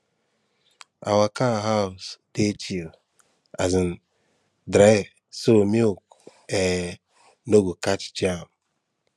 our cow house dey chill and um dry so milk um no go catch germ